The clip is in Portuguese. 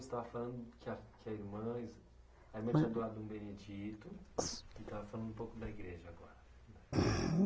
Você estava falando que a, que a irmã es, a irmã tinha doado um Benedito e estava falando um pouco da igreja agora. Vai.